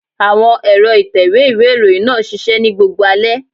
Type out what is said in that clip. Àwọn ẹ̀rọ ìtẹ̀wé ìwé ìròyìn náà ṣiṣẹ́ ní gbogbo alẹ́.